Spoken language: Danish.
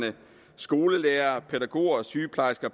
skolelærere pædagoger og sygeplejersker